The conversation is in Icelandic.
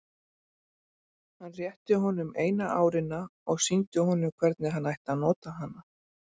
Hann rétti honum eina árina og sýndi honum hvernig hann ætti að nota hana.